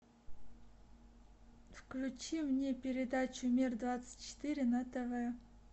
включи мне передачу мир двадцать четыре на тв